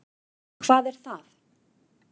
Hvað er það?